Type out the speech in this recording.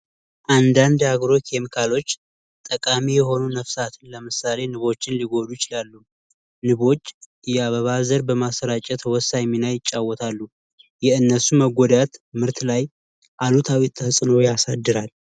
አንዳግሮች የአግሮ ኬሚካሎች ጠቃሚ የሆኑ ነፍሳት ለምሳሌ ንቦች ሊጎዳ ይችላሉ ። የአበባ ዘር በማሰራጨት ወሳኝ ይጫወታሉ የእነሱ መጎዳት ምርት ላይ አሉታዊ ያሳድራል።